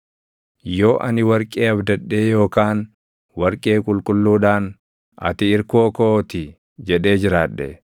“Yoo ani warqee abdadhee yookaan warqee qulqulluudhaan, ‘Ati irkoo koo ti’ jedhee jiraadhe,